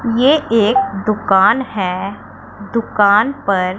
ये एक दुकान है दुकान पर--